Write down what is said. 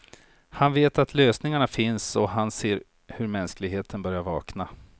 Han vet att lösningarna finns och han ser hur mänskligheten börjar vakna.